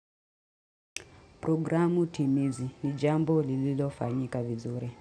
Programu timizi ni jambo lililofanyika vizuri.